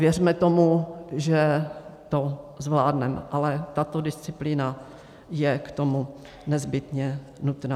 Věřme tomu, že to zvládneme, ale tato disciplína je k tomu nezbytně nutná.